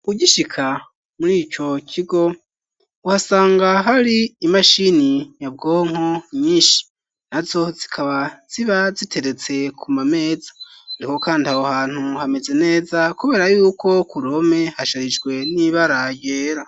Ugishika murico kigo uhasanga hari imashini nyabwonko nyishi na zo zikaba ziba ziteretse ku mameza niko kandi naho hantu hameze neza kubera yuko ku home hasharijwe n'ibara ryera.